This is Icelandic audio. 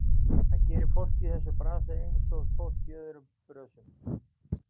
Það gerir fólk í þessum bransa, einsog fólk í öðrum brönsum.